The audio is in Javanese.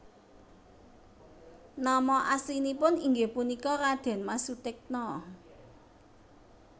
Nama aslinipun inggih punika Radén Mas Sutikna